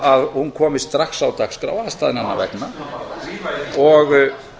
að hún komist strax á dagskrá aðstæðnanna vegna og